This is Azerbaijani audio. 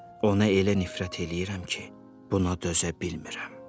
Ona elə nifrət eləyirəm ki, buna dözə bilmirəm.